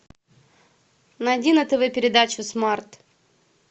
найди на тв передачу смарт